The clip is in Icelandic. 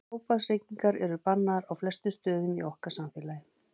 Tóbaksreykingar eru bannaðar á flestum stöðum í okkar samfélagi.